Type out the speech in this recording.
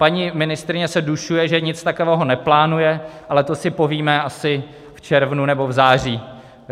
Paní ministryně se dušuje, že nic takového neplánuje, ale to si povíme asi v červnu nebo v září.